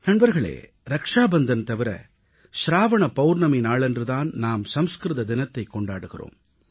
நண்பர்களே ரக்ஷாபந்தன் தவிர சிராவண பவுர்ணமி நாளன்று தான் நாம் சமஸ்கிருத தினத்தைக் கொண்டாடுகிறோம்